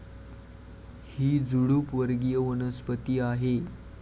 ही झुडूप वर्गीय वनस्पती आहे.